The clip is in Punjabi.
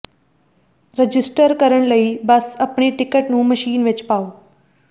ਰਜਿਸਟਰ ਕਰਨ ਲਈ ਬਸ ਆਪਣੀ ਟਿਕਟ ਨੂੰ ਮਸ਼ੀਨ ਵਿੱਚ ਪਾਓ